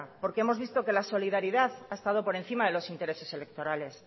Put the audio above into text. porque hemos visto que la solidaridad ha estado por encima de los intereses electorales